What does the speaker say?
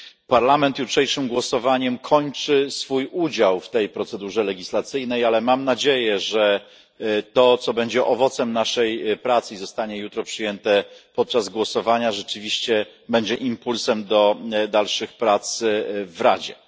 Parlament jutrzejszym głosowaniem kończy swój udział w tej procedurze legislacyjnej, ale mam nadzieję, że to, co będzie owocem naszej pracy i zostanie jutro przyjęte podczas głosowania, rzeczywiście będzie impulsem do dalszych prac w Radzie.